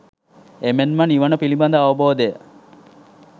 එමෙන් නිවන පිළිබඳ අවබෝධය